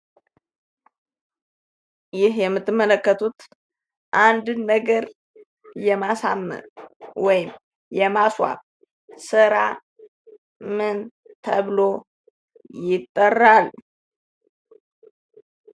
ይህ የምትመለከቱት አንድን ነገር የማሳመር ወይም የማስዋብ ሥራ ምን ተብሎ ይጠራል?